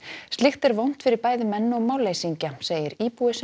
slíkt er vont fyrir bæði menn og málleysingja segir íbúi sem